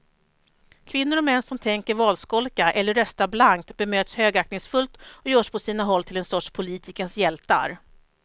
Kvinnor och män som tänker valskolka eller rösta blankt bemöts högaktningsfullt och görs på sina håll till en sorts politikens hjältar.